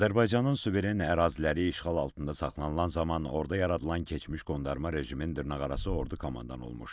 Azərbaycanın suveren əraziləri işğal altında saxlanılan zaman orda yaradılan keçmiş qondarma rejimin dırnaqarası ordu komandanı olmuş.